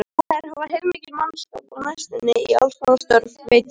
Þeir þurfa heilmikinn mannskap á næstunni í allskonar störf, veit ég.